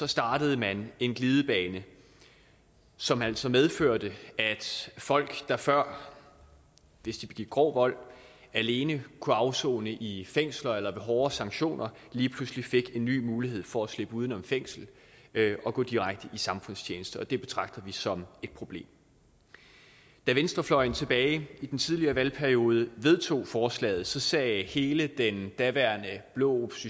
startede man en glidebane som altså medførte at folk der før hvis de begik grov vold alene kunne afsone i fængsler eller få hårdere sanktioner lige pludselig fik en ny mulighed for at slippe uden om fængsel og gå direkte i samfundstjeneste og det betragter vi som et problem da venstrefløjen tilbage i den tidligere valgperiode vedtog forslaget sagde hele den daværende blå